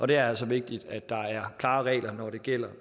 det er altså vigtigt at der er klare regler når det gælder